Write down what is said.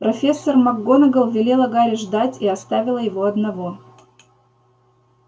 профессор макгонагалл велела гарри ждать и оставила его одного